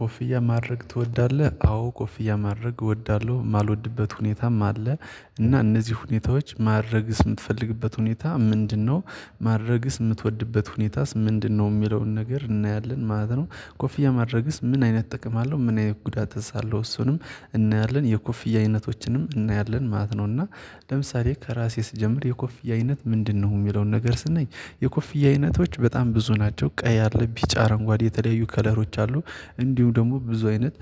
ኮፍያ ማድረግ ትወዳለህ? አዎ ኮፍያ ማድረግ እወዳለሁ የማልወድበት ሁኔታም አለ። እና እነዚህ ሁኔታዎች ማድረግ ስትፈልግበት ሁኔታ ምንድነው? ማድረግስ የምትወድበት ሁኔታስ ምንድነው የሚለውን ነገር እናያለን ማለት ነው። ኮፍያ ማድረግስ ምን አይነት ጥቅም አለው ምን አይነት ጉዳት እዛ አለው። እሱንም እናያለን የኮፍያ አይነቶችንም እናያለን ማለት ነው። እና ለምሳሌ ከራሴ ስጀምር የኮፍያ አይነት ምንድነው? የሚለውን ነገር ስናይ የኮፍያ አይነቶች በጣም ብዙ ናቸው ቀይ አለብኝ ቢጫ አረንጓዴ የተለያዩ ከለሮች አሉ። እንዲሁ ደግሞ ብዙ አይነት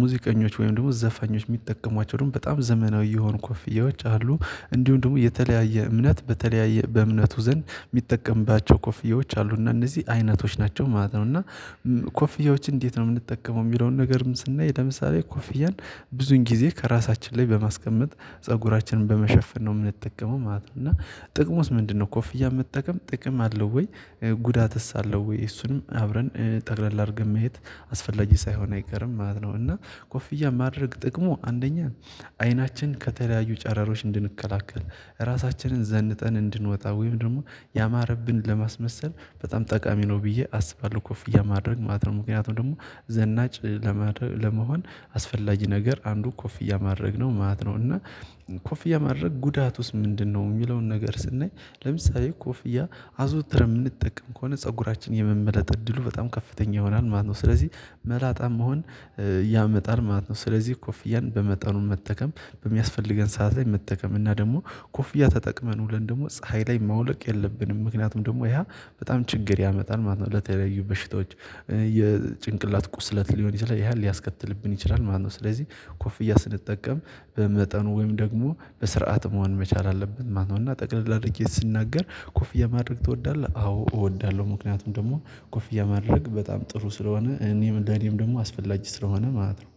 ሙዚቀኞች ወይም ደግሞ ዘፈኞች የሚጠቀሟቸው ደግሞ በጣም ዘመናዊ የሆኑ ኮፍያዎች አሉ። እንዲሁም ደግሞ የተለያየ እምነት በተለያየ በእምነቱ ዘንድ የሚጠቀምባቸው ኮፍዬዎች አሉ። እና እነዚህ አይነቶች ናቸው ማለት ነው። እና ኮፍዬዎች እንዴት ነው? የምንጠቀመው የሚለውን ነገርም ስናይ ለምሳሌ ኮፍያን ብዙን ጊዜ ከራሳችን ላይ በማስቀመጥ ፀጉራችንን በመሸፈን ነው የምንጠቀመው ማለት ነው። እና ጥቅሙስ ምንድነው? ኮፍያ መጠቀም ጥቅም አለው ወይ? ጉዳትስ አለው ወይ? እሱንም አብረን ጠቅለል አድርገን መሄድ አስፈላጊ ሳይሆን አይቀርም ማለት ነው። እና ኮፍያ ማድረግ ጥቅሙ አንደኛ አይናችን ከተለያዩ ጨረሮች እንድንከላከል ራሳችንን ዘንጠን እንድንወጣ ወይም ደግሞ ያማረብን ለማስመሰል በጣም ጠቃሚ ነው ብዬ አስባለሁ ኮፍያ ማድረግ ማለት ነው። ምክንያቱም ደግሞ ዘናጭ ለመሆን አስፈላጊ ነገር አንዱ ኮፍያ ማድረግ ነው ማለት ነው። እና ኮፍያ ማድረግ ጉዳቱስ ምንድነው? የሚለውን ነገር ስናይ ለምሳሌ ኮፍያ አዘውትር የምንጠቀም ከሆነ ፀጉራችን የመመለጥ እድሉ በጣም ከፍተኛ ይሆናል ማለት ነው። ስለዚህ መላጣም መሆን ያመጣል ማለት ነው። ስለዚህ ኮፍያን በመጠኑ መጠቀም በሚያስፈልገን ሰዓት ላይ መጠቀም እና ደግሞ ኮፍያ ተጠቅመን ውለን ደግሞ ፀሀይ ላይ ማውለቅ የለብንም። ምክንያቱም ደግሞ ያ በጣም ችግር ያመጣል ማለት የተለያዩ በሽታዎች የጭንቅላት ቁስለት ሊሆን ይችላል ያን ሊያስከትልብን ይችላል ማለት ነው። ስለዚህ ኮፍያ ስንጠቀም በመጠኑ ወይም ደግሞ በስርዓት መሆን መቻል አለብን ማለት ነው። እና ጠቅልላ አድርጌ ስናገር ኮፍያ ማድረግ ትወዳለህ? አዎ እወዳለሁ ምክንያቱም ደግሞ ኮፍያ ማድረግ በጣም ጥሩ ስለሆነ እኔም ለእኔም ደግሞ አስፈላግ ስለሆነ ማለት ነው